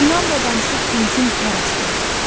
İnamla danışıb dinsin hər əsgər.